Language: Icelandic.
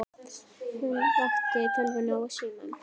Hún vaktaði tölvuna og símann.